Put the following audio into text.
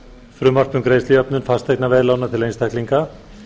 frumvarp um greiðslujöfnun fasteignaveðlána til einstaklinga